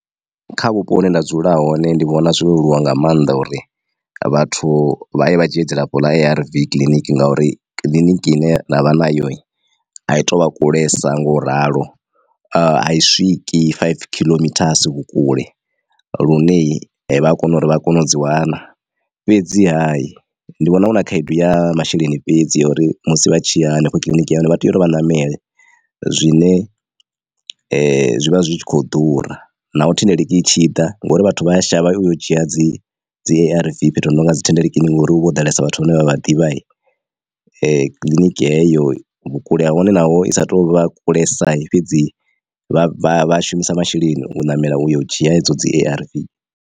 Kha vhupo hune nda dzula hone ndi vhona zwo leluwa nga maanḓa uri vhathu vha ye vha dzhie dzilafho ḽa A_R_V kiḽiniki ngauri kiḽiniki ine nda vha nayo a i to vha kulesa nga u ralo a i swiki five khiḽomithasi vhukule lune vha a kona uri vha kone u dzi wana. Fhedziha ndi vhona hu na khaedu ya masheleni fhedzi ya uri musi vha tshiya hanefho kiḽiniki uri vha tea uri vha ṋamele zwine zwi vha zwi kho ḓura naho thendeleki itshi ḓa ngori vhathu vha ya shavha uyo dzhia dzi dzi arv fhethu ho no nga dzi thendeleki ni ngori huvha ho ḓalesa vhathu vhane vha vha ḓivha kiḽiniki heyo vhukule hahone naho i sa to vha kulesa fhedzi vha shumisa masheleni u ṋamela u yo u dzhia edzo dzi A_R_V.